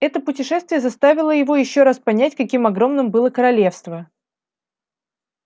это путешествие заставило его ещё раз понять каким огромным было королевство